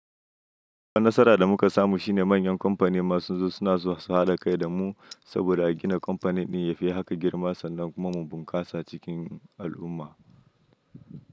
Duka nasara da muka samu shine manyan kamfani ma sunzo suna so su haɗa kai da mu saboda a gina kamfani ɗin ya fi haka girma sannan kuma mu bunkasa cikin al'umma.